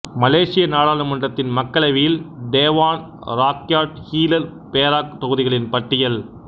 மலேசிய நாடாளுமன்றத்தின் மக்களவையில் Dewan Rakyat Hilir Perak தொகுதிகளின் பட்டியல்